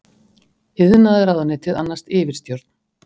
Iðnaðarráðuneytið annaðist yfirstjórn.